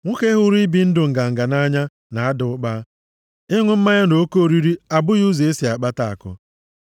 Nwoke hụrụ ibi ndụ nganga nʼanya na-ada ụkpa; ịṅụ mmanya na oke oriri abụghị ụzọ esi akpata akụ.